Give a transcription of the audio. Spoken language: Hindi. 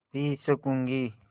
पी सकँूगी